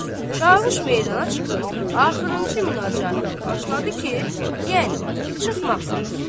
Çavuş meydana çıxıb axırıncı münacətini başladı ki, yəni, çıxmaq vaxtıdır.